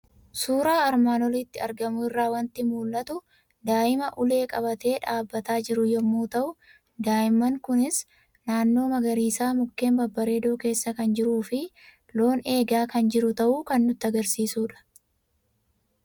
Suuraa armaan olitti argamu irraa waanti mul'atu; daa'immaa ulee qabate dhaabbataa jiru yommuu ta'u, daa'immaan kunis naannoo magariisa mukeen babbareedoo keessa kan jiruufi loon eegaa kan jiru ta'uu kan nutti agarsiisudha.